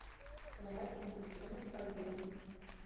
карась запеченный в фольге